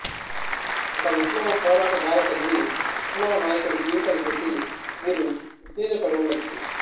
ఒక విప్లవ పోరాట గాథ చదివి విప్లవ నాయకుడి జీవితం చూసి మీరు ఉత్తేజపడి వుండొచ్చు